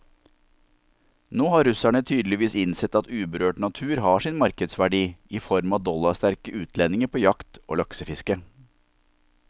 Nå har russerne tydeligvis innsett at uberørt natur har sin markedsverdi i form av dollarsterke utlendinger på jakt og laksefiske.